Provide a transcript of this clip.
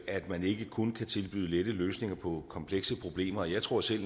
at man ikke kun kan tilbyde lette løsninger på komplekse problemer og jeg tror selv